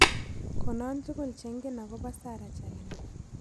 Konon tugul chengen ago po sarah chelangat